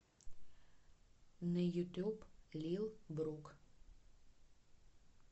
на ютуб лил брук